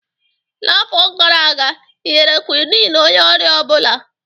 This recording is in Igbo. N'afọ gara aga ị nyere Quinn onye ọrịa ọ bụla?